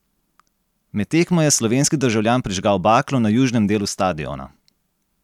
Med tekmo je slovenski državljan prižgal baklo na južnem delu stadiona.